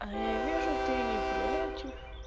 а я вижу ты не против